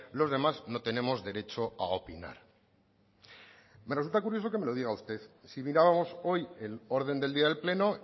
los demás no tenemos derecho a opinar me resulta curioso que lo diga usted si mirábamos hoy el orden del día del pleno